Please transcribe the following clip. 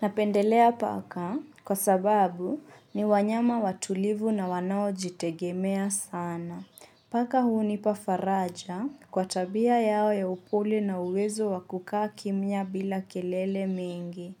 Napendelea paka kwa sababu ni wanyama watulivu na wanao jitegemea sana. Paka hu nipa faraja kwa tabia yao ya upole na uwezo wa kukaa kimya bila kelele mingi.